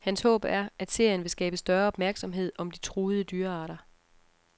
Hans håb er, at serien vil skabe større opmærksomhed om de truede dyrearter.